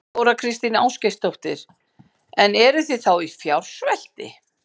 Þóra Kristín Ásgeirsdóttir: En eruð þið þá í fjársvelti?